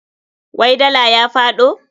Wai dala ya faɗo?